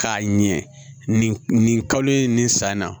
K'a ɲɛ nin nin kalo in nin san na